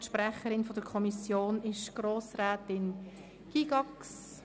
Die Sprecherin der Kommission ist Grossrätin Gygax.